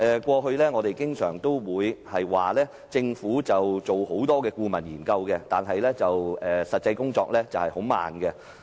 過去，我們經常說政府進行多項顧問研究，但實際工作卻很緩慢。